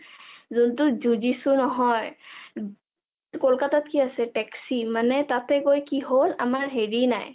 যোনটো জোজিচো নহয় ...কলকতাত কি আছে taxi মানে তাতে গৈ কি হল আমাৰ হেৰি নাই